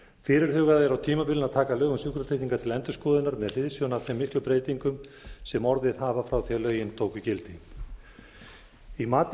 fyrirhugað er á tímabilinu að taka lög um sjúkratryggingar til endurskoðunar með hliðsjón af þeim miklu breytingum sem orðið hafa frá því að lögin tóku gildi í mati